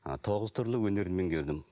ы тоғыз түрлі өнер меңгердім